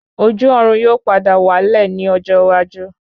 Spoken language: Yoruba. Ojú Ọ̀run yóò padà wá lẹ̀ ní ọjọ́ iwájú